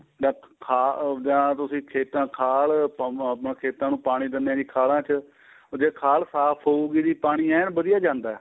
ਅਹ ਖਾ ਜਾਂ ਤੁਸੀਂ ਖੇਤਾਂ ਨੂੰ ਖਾਲ ਆਪਣਾ ਖੇਤਾਂ ਨੂੰ ਪਾਣੀ ਦਿੰਦੇ ਹੋ ਖਾਲਾਂ ਚ ਉਹ ਜ਼ੇ ਖ਼ਾਲ ਸਾਫ਼ ਹੋਉਗੀ ਜੀ ਪਾਣੀ ਐਨ ਵਧੀਆ ਜਾਂਦਾ